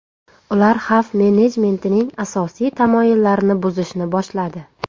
Ular xavf-menejmentining asosiy tamoyillarini buzishni boshladi.